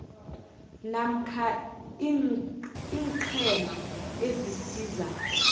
namkha iinqhema ezisiza